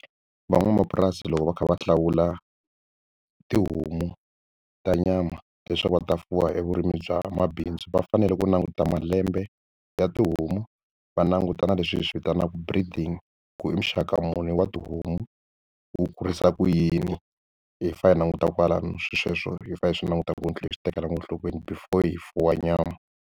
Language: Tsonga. Van'wamapurasi loko va kha va hlawula tihomu ta nyama leswaku va ta fuwa evurimini bya mabindzu va fanele ku languta malembe ya tihomu va languta na leswi hi swi vitanaka breeding ku i muxaka muni wa tihomu wu kurisa ku yini hi fa hi languta kwalano swilo sweswo hi fane hi swi languta kwini tlula hi swi tekelaka enhlokweni before hi fuwa nyama.